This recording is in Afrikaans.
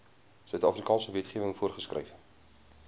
suidafrikaanse wetgewing voorgeskryf